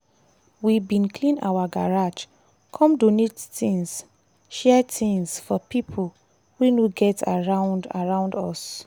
we bin clean our garage come donate things share things for pipo wey no get around around us.